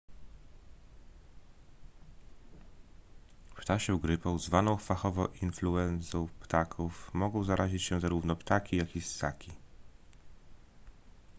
ptasią grypą zwaną fachowo influenzą ptaków mogą zarazić się zarówno ptaki jak i ssaki